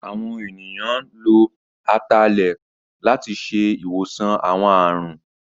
Àwọn ènìyàn lo Atalẹ̀ láti ṣe ìwòsàn àwọn àrùn